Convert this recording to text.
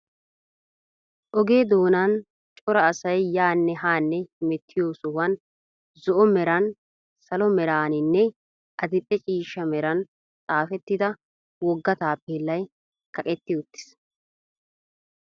Oge doonan cora asay yaanne haanne hemettiyo sohuwan zo'o meran, salo meraaninne adil"e ciishsha meran xaafettida wogga taappellay kaqetti uttiis.